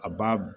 A b'a